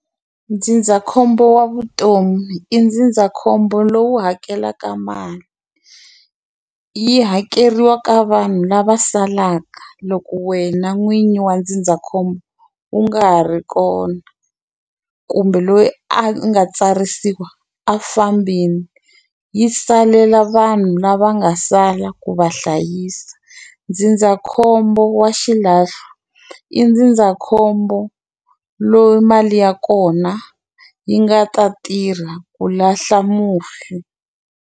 Ndzindzakhombo wa vutomi i ndzindzakhombo lowu hakelaka mali yi hakeriwa ka vanhu lava salaka loko wena n'winyi wa ndzindzakhombo u nga ha ri kona kumbe loyi a nga tsarisiwa a fambini yi salela vanhu lava nga sala ku va hlayisa ndzindzakhombo wa xilahlo i ndzindzakhombo loyi mali ya kona yi nga ta tirha ku lahla mufi.